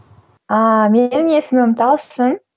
ааа менің есімім талшын